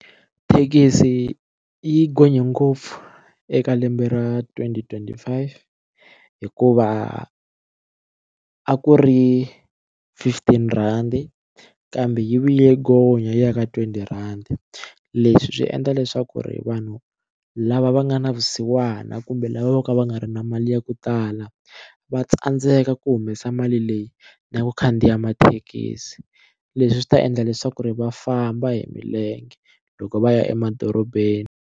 Thekisi yi gonye ngopfu eka lembe ra twenty twenty five hikuva a ku ri fifteen rhandi kambe yi vuye gonya yi ya ka twenty rhandi leswi swi endla leswaku ri vanhu lava va nga na vusiwana kumbe lava vo ka va nga ri na mali ya ku tala va tsandzeka ku humesa mali leyi na ku khandziya mathekisi leswi swi ta endla leswaku ri va famba hi milenge loko va ya emadorobeni.